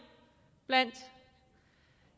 blandt